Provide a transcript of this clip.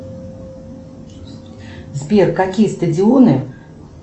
сбер какие стадионы